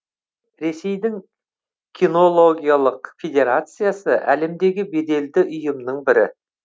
ресейдің кинологиялық федерациясы әлемдегі беделді ұйымның бірі